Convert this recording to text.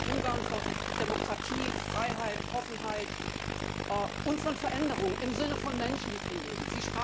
Ein Ungarn von Demokratie, Freiheit, Offenheit und von Veränderungen im Sinne der Menschen, die drin leben.